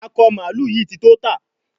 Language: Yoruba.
Akọ mààlúù yí tí tó tá